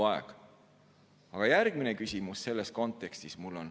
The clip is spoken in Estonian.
Aga selles kontekstis on mul järgmine küsimus.